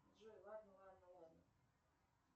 джой ладно ладно ладно